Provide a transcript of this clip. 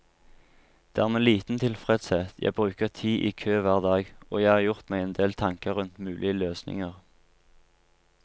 Det er med liten tilfredshet jeg bruker tid i kø hver dag, og jeg har gjort meg endel tanker rundt mulige løsninger.